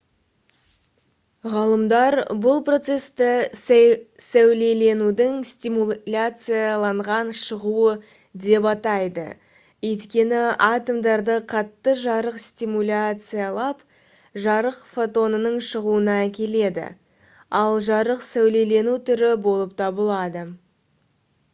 ғалымдар бұл процесті «сәулеленудің стимуляцияланған шығуы» деп атайды өйткені атомдарды қатты жарық стимуляциялап жарық фотонының шығуына әкеледі ал жарық сәулелену түрі болып табылады